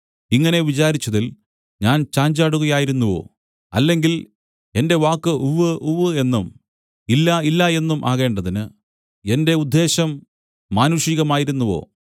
ഇങ്ങനെ വിചാരിച്ചതിൽ ഞാൻ ചാഞ്ചാടുകയായിരുന്നുവോ അല്ലെങ്കിൽ എന്റെ വാക്ക് ഉവ്വ് ഉവ്വ് എന്നും ഇല്ല ഇല്ല എന്നും ആകേണ്ടതിന് എന്റെ ഉദ്ദേശ്യം മാനുഷികമായിരുന്നുവോ